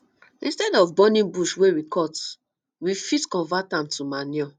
instead of burning bush wey we cut we fit convert am to manure